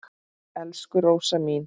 Elsku Rósa mín.